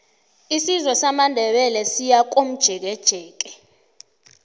isizwe samandebele siyakomjekejeke